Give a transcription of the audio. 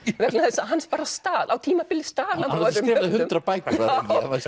vegna þess að hann stal á tímabili stal hann frá öðrum yfir hundrað bækur hann